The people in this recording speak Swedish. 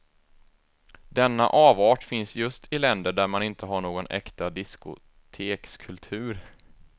Denna avart finns just i länder där man inte har någon äkta discotekskultur.